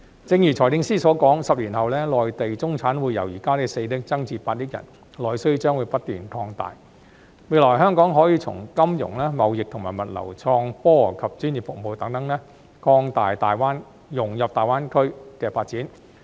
正如財政司司長所說 ，10 年後內地中產會由現時的4億人增至8億人，內需將不斷擴大，未來香港可以從金融、貿易和物流、創科及專業服務等方面，融入大灣區發展。